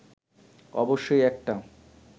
অবশ্যই একটা